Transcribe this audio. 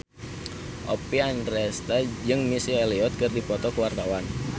Oppie Andaresta jeung Missy Elliott keur dipoto ku wartawan